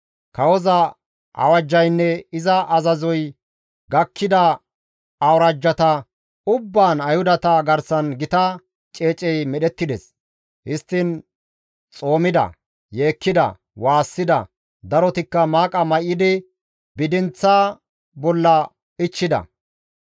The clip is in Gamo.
Kawoza awajjaynne iza azazoy gakkida awuraajjata ubbaan Ayhudata garsan gita ceecey medhettides; histtiin xoomida; yeekkida; waassida; darotikka maaqa may7idi bidinththa bolla ichchida.